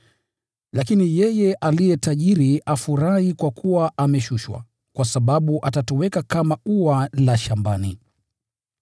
Lakini yeye aliye tajiri afurahi kwa kuwa ameshushwa, kwa sababu atatoweka kama ua la shambani.